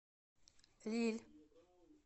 лилль